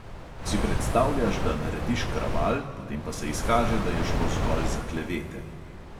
Si predstavljaš, da narediš kraval, potem pa se izkaže, da je šlo zgolj za klevete …